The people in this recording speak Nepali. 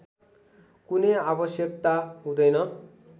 कुनै आवश्यकता हुँदैन